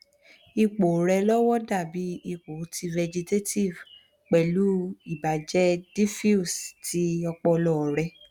ipo re lowo dabi ipo ti vegetative pelu ibaje diffuse ti opolo re